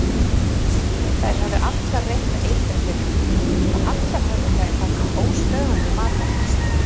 Þær höfðu allar reynt að eitra fyrir hann og allar höfðu þær haft óstöðvandi matarlyst.